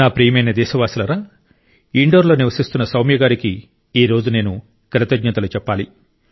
నా ప్రియమైన దేశవాసులారా ఇండోర్లో నివసిస్తున్న సౌమ్య గారికి ఈ రోజు నేను కృతజ్ఞతలు చెప్పాలి